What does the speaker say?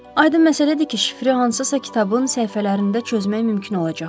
Aydın məsələdir ki, şifrli hansısa kitabın səhifələrində çözmək mümkün olacaq.